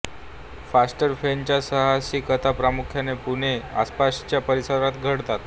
faster Phene साहसी कथा प्रामुख्याने पुणे व आसपासच्या परिसरात घडतात